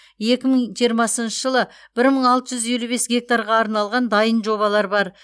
екі мың жиырмасыншы жылы бір мың алты жүз елу бес гектарға арналған дайын жобалар бар